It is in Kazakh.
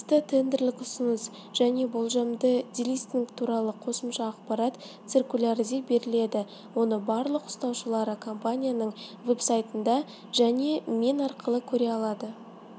қатысты тендерлік ұсыныс және болжамды делистинг туралы қосымша ақпарат циркулярде беріледі оны барлық ұстаушылары компанияның веб-сайтында және мен арқылы көре алады